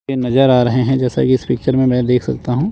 पे नजर आ रहे है जैसा कि इस पिक्चर में मैं देख सकता हूं।